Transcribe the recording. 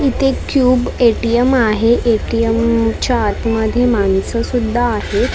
इथे क्यूब ए_टी_एम आहे ए_टी_एम च्या आतमध्ये माणसं सुध्दा आहेत आणि--